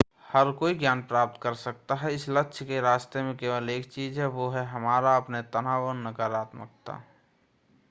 हर कोई ज्ञान प्राप्त कर सकता है इस लक्ष्य के रास्ते में केवल एक चीज़ है वह है हमारा अपने तनाव और नकारात्मकता